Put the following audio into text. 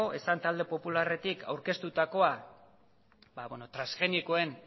esan talde popularretik aurkeztutakoa ba bueno transgenikoen